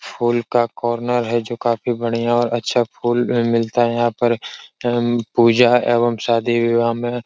फूल का कार्नर है जो काफी बढ़िया और अच्छा फूल अम मिलता है यहां पर अम पूजा एवं शादी-विवाह में --